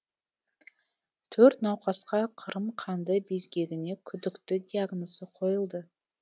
төрт науқасқа қырым қанды безгегіне күдікті диагнозы қойылды